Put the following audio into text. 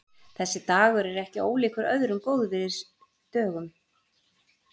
Þessi dagur er ekki ólíkur öðrum góðviðrisdögum.